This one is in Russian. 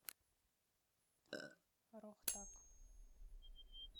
рохтак